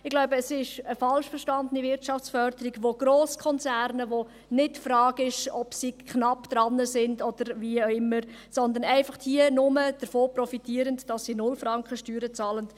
Ich glaube, es ist eine falsch verstandene Wirtschaftsförderung für Grosskonzerne, bei welchen sich nicht die Frage stellt, ob sie knapp dran sind oder wie auch immer, sondern diese profitieren hier einfach nur davon, dass sie 0 Franken Steuern bezahlen.